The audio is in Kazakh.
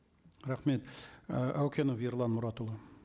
рахмет і әукенов ерлан мұратұлы